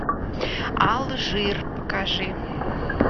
алжир покажи